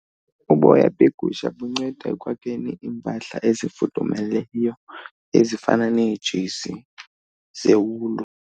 Uboya begusha bunceda ekwakheni iimpahla ezifudumezayo ezifana neejezi zewulu.